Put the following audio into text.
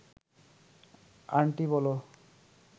aunty বলো